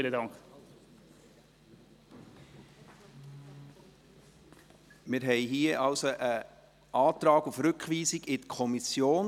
Wir haben hier also einen Antrag auf Rückweisung an die Kommission.